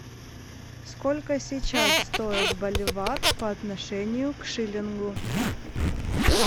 сколько сейчас стоит боливар по отношению к шиллингу